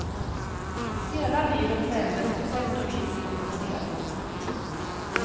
Hela livet vändes på sätt och vis upp och ner.